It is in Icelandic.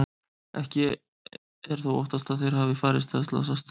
Ekki er þó óttast að þeir hafi farist eða slasast.